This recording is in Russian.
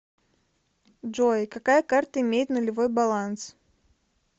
джой какая карта имеет нулевой баланс